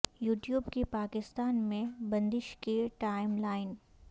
you tube کی پاکستان میں بندش کی ٹائم لائن